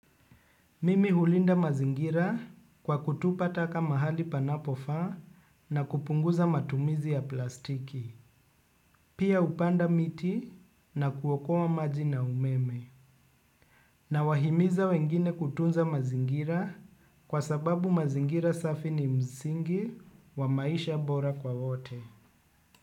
Mimi hulinda mazingira kwa kutupa taka mahali panapofaa na kupunguza matumizi ya plastiki. Pia hupanda miti na kuokoa maji na umeme. Nawahimiza wengine kutunza mazingira kwa sababu mazingira safi ni msingi wa maisha bora kwa wote.